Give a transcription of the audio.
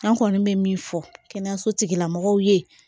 An kɔni bɛ min fɔ kɛnɛyasotigilamɔgɔw ye